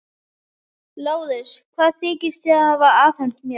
LÁRUS: Hvað þykist þér hafa afhent mér?